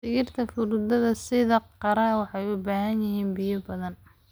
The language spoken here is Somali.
Dhirta fruitada sida qare waxay u baahan yihiin biyo badan.